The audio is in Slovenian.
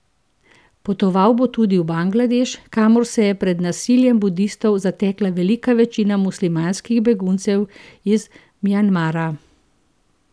Potoval bo tudi v Bangladeš, kamor se je pred nasiljem budistov zatekla velika večina muslimanskih beguncev iz Mjanmara.